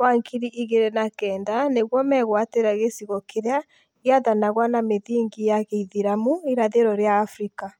wa ngiri igĩrĩ na kenda nĩguo megwatĩre gĩcigo kĩrĩa gĩathanagwo na mĩthingi ya gĩithĩramu irathĩro rĩa Afrika